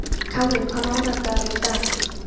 Káinn, hvaða mánaðardagur er í dag?